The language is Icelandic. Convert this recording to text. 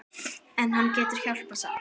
En hann getur hjálpað samt.